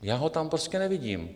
Já ho tam prostě nevidím.